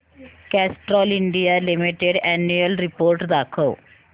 Castrol India limited annual report दाखव